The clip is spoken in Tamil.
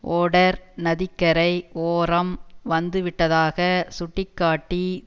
ஒடெர் நதிக்கரை ஓரம் வந்துவிட்டதாக சுட்டி காட்டி